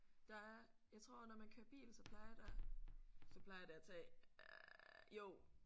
Der er jeg tror når man kører bil så plejer der så plejer det at tage øh jo